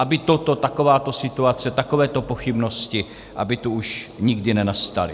Aby toto, takováto situace, takového pochybnosti, aby tu už nikdy nenastaly.